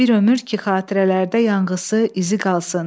Bir ömür ki xatirələrdə yanğısı, izi qalsın.